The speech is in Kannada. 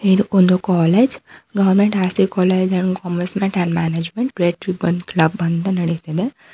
ಇದು ಒಂದು college government R_ C college and commerce and management red ribbon club ಅಂತ ನಡಿತಿದೆ.